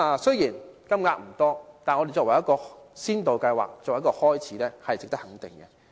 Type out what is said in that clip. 雖然金額不多，但提出先導計劃，作為一個開始，是值得肯定的。